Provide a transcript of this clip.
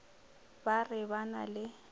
ba re ba na le